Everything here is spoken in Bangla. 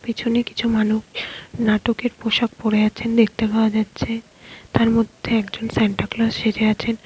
পিছনে কিছু মানুব নাটকের পোশাক পরে আছেন দেখতে পাওয়া যাচ্ছে তার মধ্যে একজন স্যান্টা ক্লজ সেজে আছেন।